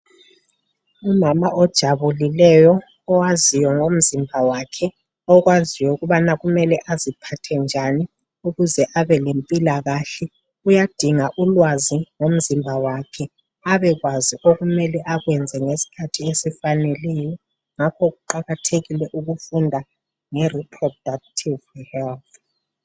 Umama ojabulileyo owaziyo ngomzimba wakhe okwaziyo ukubana kumele aziphathe njani ukuze abelempila kahle uyadinga ulwazi ngomzimba wakhe abekwazi okufane akwenze ngesikhathi esifaneleyo yikho kuqakathekile ukufunda nge reproductive health.